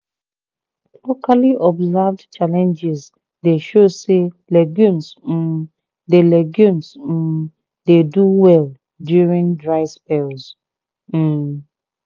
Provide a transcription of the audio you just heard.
locally observed challenges dey show say legumes um dey legumes um dey do well during dry spells. um